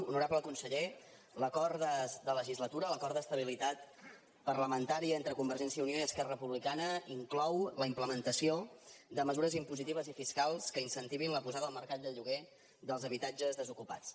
honorable conseller l’acord de legislatura l’acord d’estabilitat parlamentària entre convergència i unió i esquerra republicana inclou la implementació de mesures impositives i fiscals que incentivin la posada al mercat de lloguer dels habitatges desocupats